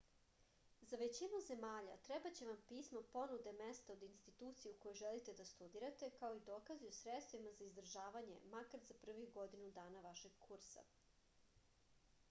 za većinu zemalja trebaće vam pismo ponude mesta od institucije u kojoj želite da studirate kao i dokazi o sredstvima za izdržavanje makar za prvih godinu dana vašeg kursa